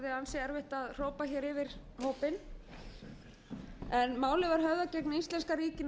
hrópa hér yfir hópinn málið var höfðað gegn íslenska ríkinu